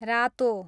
रातो